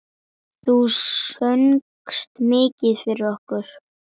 Listinn er því langur.